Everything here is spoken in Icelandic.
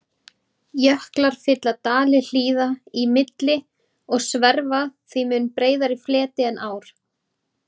Jöklar fylla dali hlíða í milli og sverfa því mun breiðari fleti en ár.